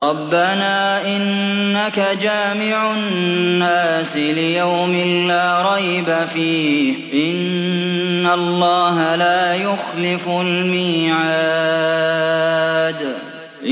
رَبَّنَا إِنَّكَ جَامِعُ النَّاسِ لِيَوْمٍ لَّا رَيْبَ فِيهِ ۚ إِنَّ اللَّهَ لَا يُخْلِفُ الْمِيعَادَ